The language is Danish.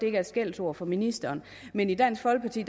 er et skældsord for ministeren men i dansk folkeparti